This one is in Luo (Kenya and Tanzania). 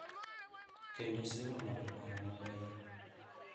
Kendo siro ng’ado paro ma beyo.